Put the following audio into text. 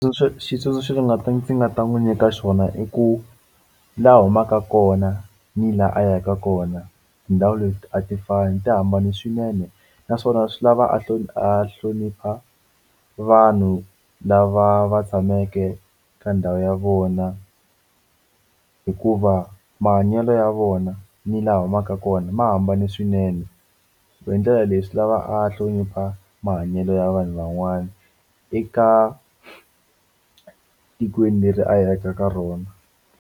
xitsundzuxo ndzi nga ta n'wi nyika xona i ku laha a humaka kona ni laha a yaka kona tindhawu leti a ti fane ti hambane swinene naswona swi lava a a hlonipha vanhu lava va tshameke ka ndhawu ya vona hikuva mahanyelo ya vona ni laha a humaka kona ma hambane swinene so hi ndlela leyi swi lava a hlonipha mahanyelo ya vanhu van'wana eka tikweni leri a ya ka ka rona.